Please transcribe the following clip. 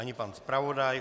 Ani pan zpravodaj.